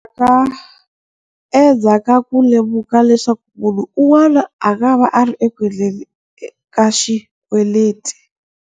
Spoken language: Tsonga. Endzhaku ka ku lemuka leswaku munhu un'wana a nga va a ri eku endleni ka xikweleti.